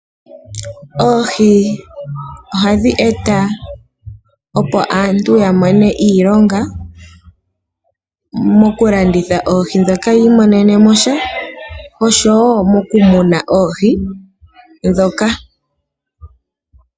Oohi ohadhi eta, opo aantu ya mone iilonga mokulanditha oohi ndhoka yi imonenemo sha oshowo mokumuna oohi ndhoka.